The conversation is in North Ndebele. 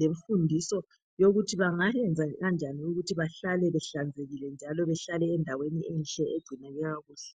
lemfundiso yokuthi bangayenza kanjani ukuthi bahlale behlanzekile, njalo bahlale endaweni enhle. Egcineke kakuhle.